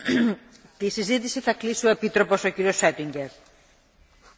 Frau Präsidentin, meine sehr verehrten Damen und Herren Abgeordneten!